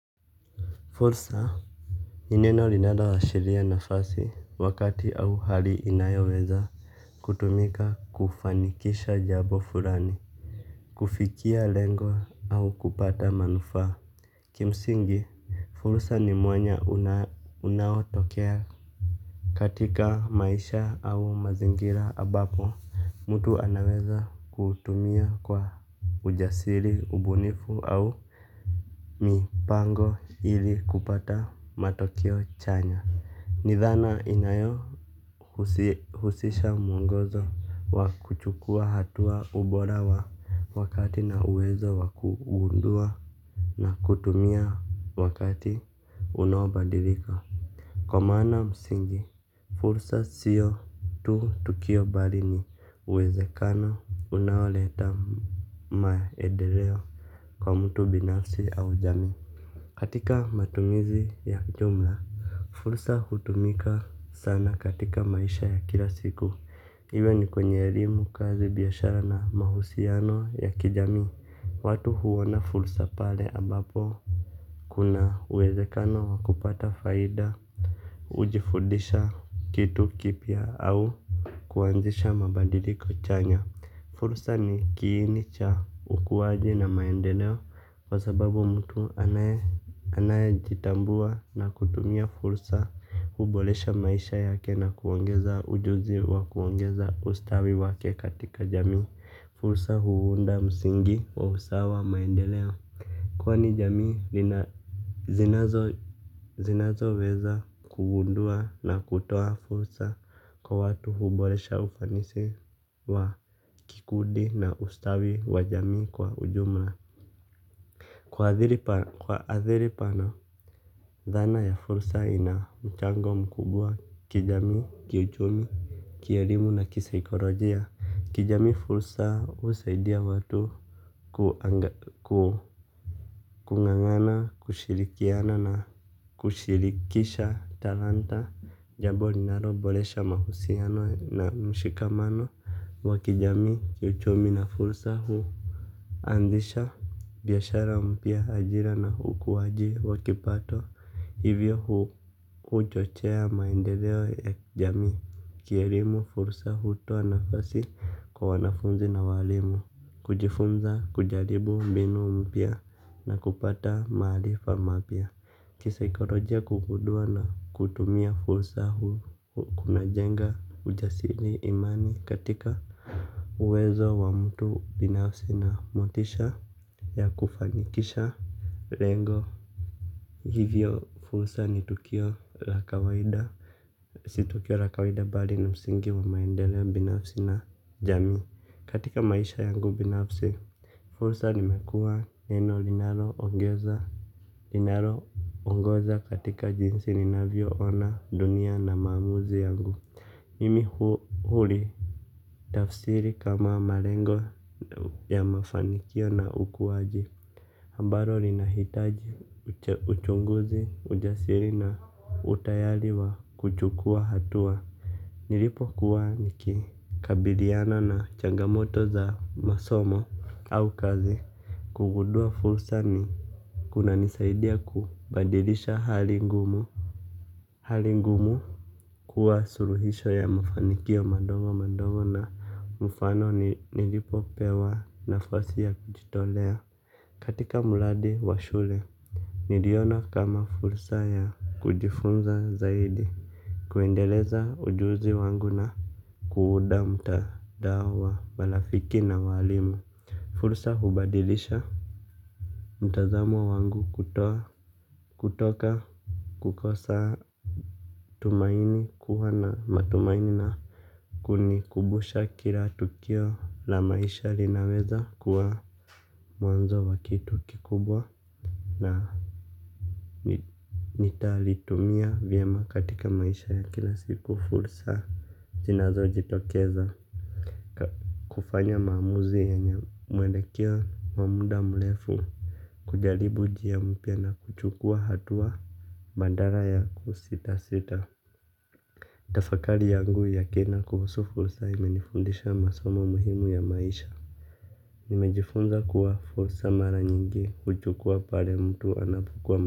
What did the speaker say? Fursa. Ni neno linalo ashiria nafasi wakati au hali inayoweza kutumika kufanikisha jambo furani. Kufikia lengo au kupata manufaa kimsingi fursa ni mwanya unawo tokea. Katika maisha au mazingira ambapo mtu anaweza kuutumia kwa ujasiri ubunifu au Mipango Ili kupata matokeo chanya. Nidhana inayo husisha mwongozo wa kuchukua hatua ubora wa wakati na uwezo wa kugundua na kutumia wakati unaobadilika kwa maana msingi, fursa siyo tu tukio bali ni uwezekano unaoleta maendeleo kwa mtu binafsi au jamii. Katika matumizi ya jumla fursa hutumika sana katika maisha ya kila siku iwe ni kwenye elimu kazi biyashara na mahusiano ya kijamii. Watu huona fursa pale ambapo kuna uwezekano wakupata faida. Hujifudisha kitu kipya au kuanzisha mabadiliko chanya. Fursa ni kiini cha ukuwaji na maendeleo. Kwa sababu mtu anaye jitambua na kutumia fursa huboresha maisha yake na kuongeza ujuzi wa kuongeza ustawi wake katika jamii. Fursa huunda musingi wa usawa wa maendeleo. Kwani jamii zinazo weza kugundua na kutoa fursa kwa watu huboresha ufanisi wa kikundi na ustawi wa jamii kwa ujumla. Kwa adhiri pana, dhana ya fursa ina mchango mkubwa kijamii, kiuchumi, kielimu na kisakolojia. Kijamii fursa husaidia watu kung'ang'ana, kushirikiana na kushirikisha talanta. Jambo linalo boresha mahusiano na mshikamano wa kijamii, kiuchumi na fursa huu anzisha biyashara mpya ajira na ukuwaji wakipato hivyo huchochea maendeleo ya jamii kielimu fursa hutoa nafasi kwa wanafunzi na walimu. Kujifunza kujaribu mbinu mpya na kupata maarifa mapya. Kisikolojia kugundua na kutumia fursa hu, huku kunajenga ujasiri imani katika uwezo wa mtu binafsi na motisha ya kufanikisha lengo. Hivyo fursa ni tukio la kawaida. Si tukio la kawaida bali ni msingi wa maendeleo binafsi na jamii. Katika maisha yangu binafsi fursa nimekuwa neno linalo ongeza linalo ongoza katika jinsi ninavyo ona dunia na maamuzi yangu. Mimi huli tafsiri kama malengo ya mafanikio na ukuwaji ambalo lina hitaji uchunguzi ujasiri na utayari wa kuchukuwa hatua. Nilipo kuwa nikikabiliyana na changamoto za masomo au kazi. Kugundua fursa ni kuna nisaidiya kubadilisha hali ngumu. Hali ngumu kuwa suluhisho ya mafanikio madogo madogo na mfano nilipo pewa nafasi ya kujitolea katika muradi wa shule niliona kama fursa ya kujifunza zaidi kuendeleza ujuzi wangu na kuunda mtandao wa marafiki na walimu. Fursa hubadilisha mtazamo wangu kutoka kukosa tumaini kuwa na matumaini na kunikumbusha kila tukio la maisha linaweza kuwa mwanzo wa kitu kikubwa. Na nitalitumia vyema katika maisha ya kila siku fursa. Zinazo jitokeza kufanya maamuzi yenye mwelekeo wa muda mrefu kujaribu njia mpya na kuchukuwa hatua badala ya kusita sita. Tafakari yangu ya kina kuhusu fursa imenifundisha masomo muhimu ya maisha. Nimejifunza kuwa fursa mara nyingi huchukuwa pale mtu anapo kwama.